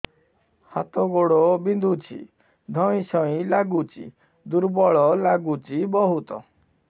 ହାତ ଗୋଡ ବିନ୍ଧୁଛି ଧଇଁସଇଁ ଲାଗୁଚି ଦୁର୍ବଳ ଲାଗୁଚି ବହୁତ